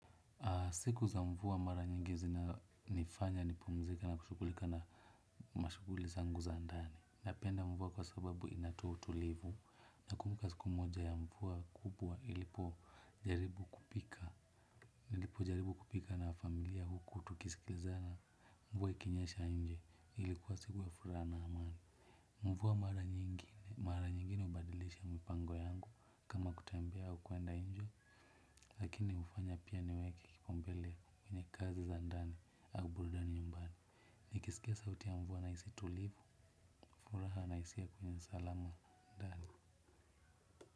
Siku za mvua mara nyingi zinanifanya, nipumzike na kushughulika na mashughuli zangu za ndani. Napenda mvua kwa sababu inatoa utulivu nakumbuka siku moja ya mvua kubwa ilipojaribu kupika. Ilipojaribu kupika na familia huku tukisikiliza na mvua ikinyesha nje ilikuwa siku ya furaha na amani. Mvua mara nyingine hubadilisha mpango yangu kama kutembea au kuenda nje lakini hufanya pia niweke kipaumbele kwenye kazi za ndani au burudani nyumbani. Nikisikia sauti ya mvua nahisi tulivu furaha na hisia kwenye sqalama ndani.